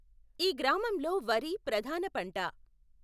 ఈ గ్రామం లో వరి ప్రధాన పంట.